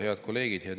Head kolleegid!